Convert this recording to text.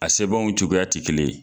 A sebanw cogoya tɛ kelen ye.